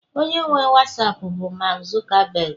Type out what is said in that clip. onye nwe wasapu bụ mark Zuckerberg